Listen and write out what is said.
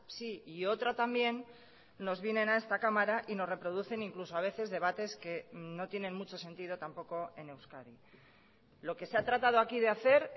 sí y otra también nos vienen a esta cámara y nos reproducen incluso a veces debates que no tienen mucho sentido tampoco en euskadi lo que se ha tratado aquí de hacer